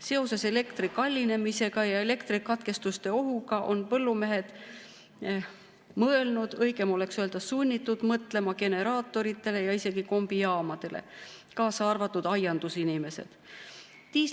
Seoses elektri kallinemisega ja elektrikatkestuste ohuga on põllumehed mõelnud, õigem oleks öelda, sunnitud mõtlema – kaasa arvatud aiandusinimesed – generaatoritele ja isegi kombijaamadele.